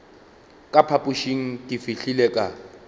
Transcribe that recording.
ka phapošeng ke fihlile ka